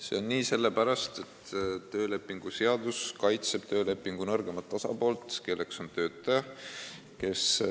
See on nii sellepärast, et töölepingu seadus kaitseb töölepingu nõrgemat osapoolt, kelleks on töötaja.